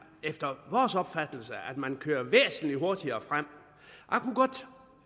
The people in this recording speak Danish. efter vores opfattelse meget man kører væsentlig hurtigere frem